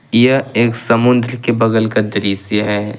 यह एक समुद्र के बगल का दृश्य है।